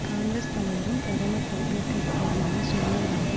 காங்கிரஸ் தலைவரும் பிரதமர் பொறுப்பேற்க இருப்பவருமான சோனியா காந்தி